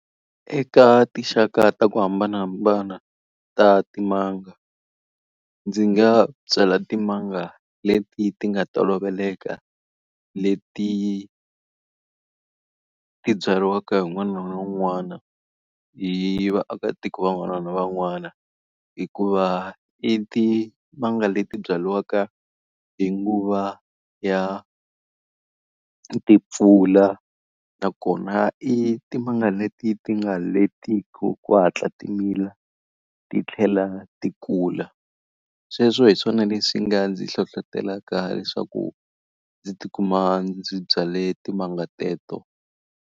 Eka tinxaka ta ku hambanahambana ta timanga, ndzi nga byala timanga leti ti nga toloveleka leti ti byariwaka wun'wana na wun'wana, hi vaakatiko van'wana na van'wana. Hikuva i timanga leti byariwaka hi nguva ya timpfula, nakona i timanga leti ti nga letiku ku hatla timila ti tlhela ti kula. Sweswo hi swona leswi nga ndzi hlohletelaka leswaku ndzi tikuma ndzi byale timanga teto.